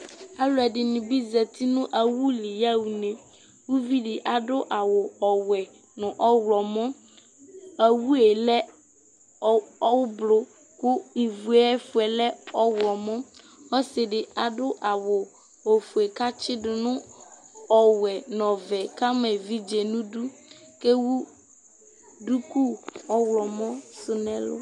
Aluɛdini bi zati nu awu li ya uvidi adu awu wɛ nu ɔɣlomɔ awu lɛ ublu ku uvuɛ fue lɛ ɔɣlomɔ adu awu ofue katsidu nu ɔwɛ nu ɔvɛ kama evidze nu idu ku ɛwu duku ɔɣlomɔ nɛlu